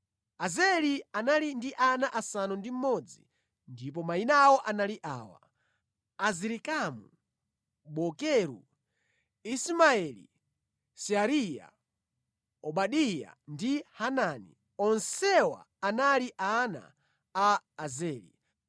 Azeli anali ndi ana asanu ndi mmodzi, ndipo mayina awo anali awa: Azirikamu, Bokeru, Ismaeli, Seariya, Obadiya ndi Hanani. Onsewa anali ana a Azeli.